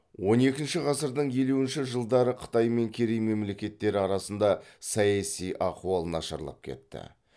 он екінші ғасырдың елуінші жылдары қытай мен керей мемлекеттері арасында саяси ахуал нашарлап кетті